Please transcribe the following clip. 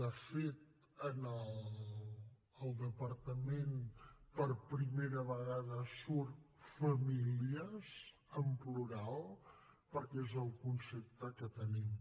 de fet al departament per primera vegada surt famílies en plural perquè és el concepte que en tenim